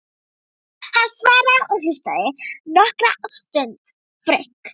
Hann svaraði og hlustaði nokkra stund.